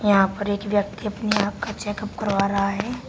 यहां पर एक व्यक्ति अपनी आंख का चेकअप करवा रहा है।